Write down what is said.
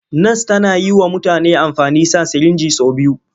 Nas tana yi wa mutane amfani sa sirinji sau biyu.